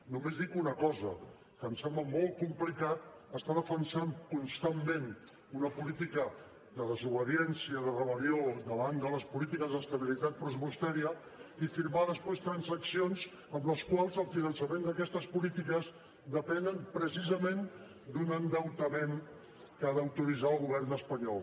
només dic una cosa que em sembla molt complicat defensar constantment una política de desobediència de rebel·lió davant de les polítiques d’estabilitat pressupostària i firmar després transaccions en les quals el finançament d’aquestes polítiques depèn precisament d’un endeutament que ha d’autoritzar el govern espanyol